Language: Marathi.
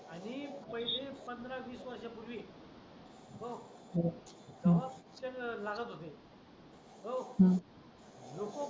आधी पंधरा वीस वर्षांपूर्वी ओ तेव्हा पिक्चर लागत होते